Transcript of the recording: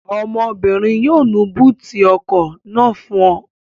Ọmọbìnrin yóò nu búùtì ọkọ̀ náà fún ọ